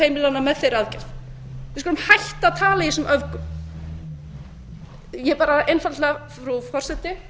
heimilanna með þeirri aðgerð við skulum hætta að tala í þessum öfgum ég bara einfaldlega frú forseti